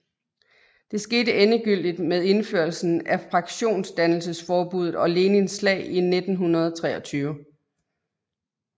Det skete endegyldigt med indførelsen af fraktionsdannelsesforbuddet og Lenins slag 1923